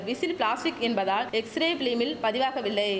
whistle plastic என்பதால் x-ray பிலிமில் பதிவாகவில்லை